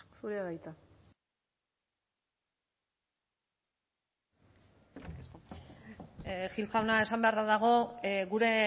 zurea da hitza gil jauna esan beharra dago gure